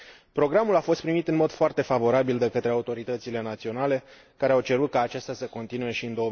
Programul a fost primit în mod foarte favorabil de către autoritățile naționale, care au cerut ca acesta să continue și în